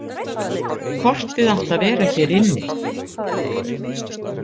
Kortið átti að vera hér inni.